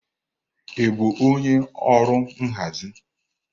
Ị bụ onye ọrụ nhazi?